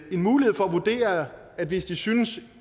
mulighed for at vurdere at hvis de synes